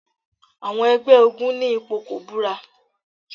Àwọn ẹgbẹ́ ogún ní ipò kọ́bùrà.